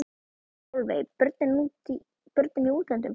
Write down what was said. Sólveig: Börnin í útlöndum?